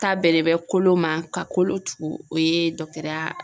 Ta bɛlen bɛ kolo ma ka kolo tugu o ye ya